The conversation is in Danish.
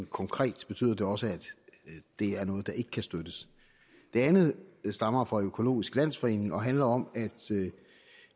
konkret betyder det også at det er noget der ikke kan støttes det andet stammer fra økologisk landsforening og handler om at